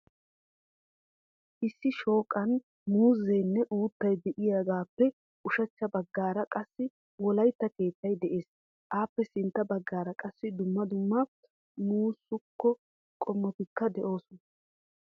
Issi shooqan muuzzenne uuttay de'iyaagappe ushachcha baggaara qassi wolaytta keettay de'ees. Appe sintta baggaara qassi dumma dumma masuko qumatikka de'oosona.